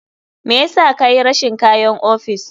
Me yasa kayi rashin kayan ofis?